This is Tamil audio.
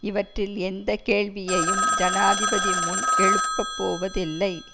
இவற்றில் எந்த கேள்வியையும் ஜனாதிபதி முன் எழுப்பப்போவதில்லை